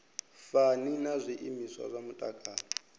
fani na zwiimiswa zwa mutakalo